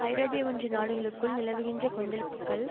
ஐரோப்பிய ஒன்றிய நாடுகளுக்குள் நிலவுகின்ற கொந்தளிப்புக்கள்